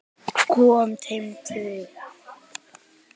Kom þeim til lífs.